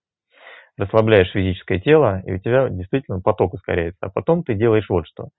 расслабляешь физическое тело и у тебя действительно поток ускоряется а потом ты делаешь вот что